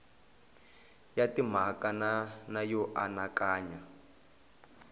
ya timhaka na yo anakanya